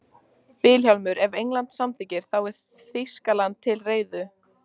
VILHJÁLMUR: Ef England samþykkir, þá er Þýskaland til reiðu.